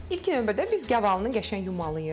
İlk növbədə biz gavalıını qəşəng yumalıyıq.